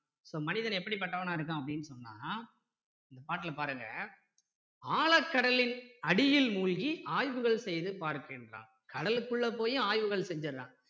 so மனிதன் எப்படி பட்டவனா இருக்கான் அப்படின்னு சொன்னா இந்த பாட்டுல பாருங்க ஆழக் கடலின் அடியில் மூழ்கி ஆய்வுகள் செய்து பார்க்கின்றான் கடலுக்குள்ள போயும் ஆய்வுகள் செஞ்சுடுறான்